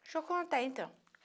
Deixa eu contar, então.